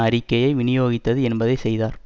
அறிக்கையை விநியோகித்தது என்பதை செய்தார்